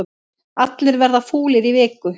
Allir verða fúlir í viku